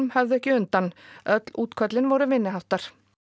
höfðu ekki undan öll útköllin voru minniháttar